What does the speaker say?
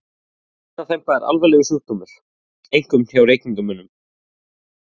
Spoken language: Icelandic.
Lungnaþemba er algengur sjúkdómur, einkum hjá reykingamönnum.